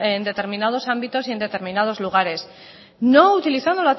en determinados ámbitos y en determinados lugares no utilizando